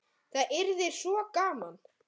Það yrði svo gaman.